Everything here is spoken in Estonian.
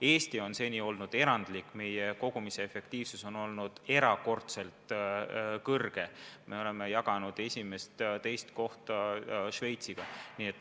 Eesti on seni olnud erandlik: meie kogumise efektiivsus on olnud erakordselt suur, me oleme jaganud esimest-teist kohta Šveitsiga.